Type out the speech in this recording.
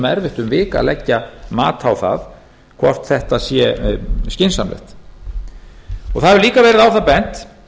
erfitt um vik að leggja mat á það hvort þetta sé skynsamlegt það hefur líka verið á það bent